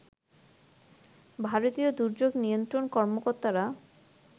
ভারতীয় দুর্যোগ নিয়ন্ত্রণ কর্মকর্তারা